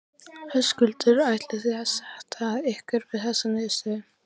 Höskuldur: Ætlið þið að sætta ykkur við þessa niðurstöðu?